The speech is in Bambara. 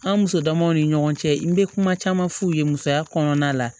An muso damaw ni ɲɔgɔn cɛ n bɛ kuma caman f'u ye musoya kɔnɔna la